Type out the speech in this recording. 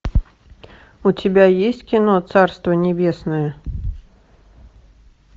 у тебя есть кино царство небесное